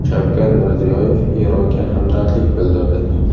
Shavkat Mirziyoyev Eronga hamdardlik bildirdi .